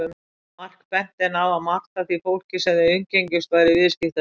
Mark benti henni á að margt af því fólki sem þau umgengjust væru viðskiptavinir hans.